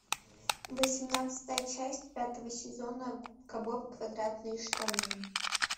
восемнадцатая часть пятого сезона губка боб квадратные штаны